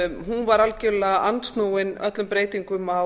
var algjörlega andsnúin öllum breytingum á